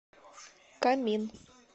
камин